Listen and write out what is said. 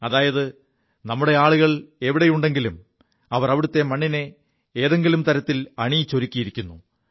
അതായത് നമ്മുടെ ആളുകൾ എവിടെയുണ്ടെങ്കിലും അവർ അവിടത്തെ മണ്ണിനെ ഏതെങ്കിലും തരത്തിൽ അണിയിച്ചൊരുക്കിയിരിക്കുു